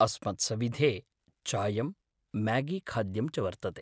अस्मत्सविधे चायं, म्यागीखाद्यं च वर्तते।